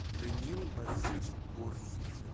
даниил борисович горстин